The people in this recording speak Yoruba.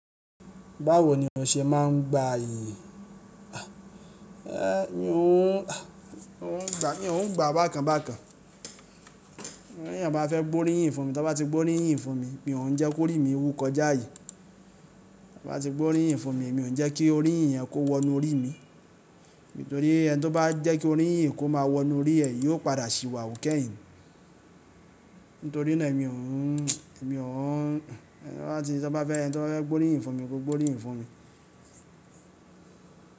Báwo ni ó ṣe máa ń gba iyì? É mi ò ń, mi o ń gba, mi o ń gba bákan bákan. B'éyàn bá fẹ́ gbóríyìn fún mi, tí ó bá ti gbóríyìn fún mi, mi ò ń jẹ́ kó rí mi wù kọjá ààyè To bá ti gbóríyìn fún mi, mi ò ń jẹ́ kí oríyìn yẹn kó wọnú orí mi. Nítorí ẹni tí ó bá jẹ́ kí oríyìn kó máa wọnú orí ẹ yí ò padà ṣìwàwù kẹ́yìn. Nítorí náà mi ò ń, mi ò ń-- tí wọ́n bá fẹ́, ẹni tí wọ́n bá fẹ́ gbóríyìn fún mi kó gbóríyìn fún mi.